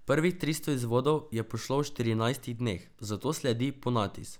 Prvih tristo izvodov je pošlo v štirinajstih dneh, zato sledi ponatis.